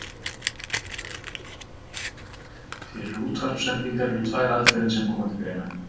Fyrir útvarpssendingar eru tvær aðferðir sem koma til greina.